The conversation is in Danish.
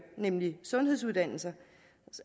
nemlig sundhedsuddannelser